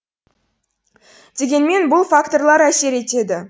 дегенмен бұл факторлар әсер етеді